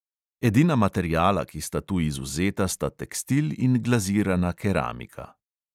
Edina materiala, ki sta tu izvzeta, sta tekstil in glazirana keramika.